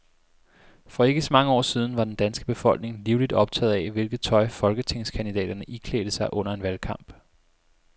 For ikke så mange år siden var den danske befolkning livligt optaget af, hvilket tøj folketingskandidaterne iklædte sig under en valgkamp.